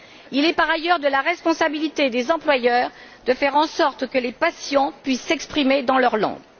Il est, par ailleurs, de la responsabilité des employeurs de faire en sorte que les patients puissent s'exprimer dans leur langue.